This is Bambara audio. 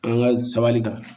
An ka sabali kan